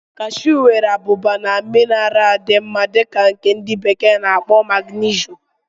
Kashu nwere abụba na mineralu dị mma dị ka nke ndi bekee na-akpo magnesium.